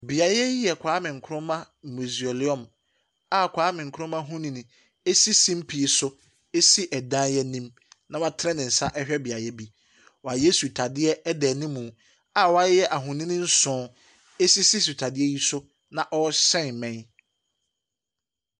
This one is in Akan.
Beaeɛ yi yɛ Kwame Nkrumah Museum a Kwame Nkrumah honin si sumpie so si dan anim, na watena ne nsa rehwɛ beaeɛ bi. Wɔayɛ sutadeɛ da anim, a wɔayɛ ahonin nson sisi sutadeɛ yi so na wɔrehyɛn mmɛn.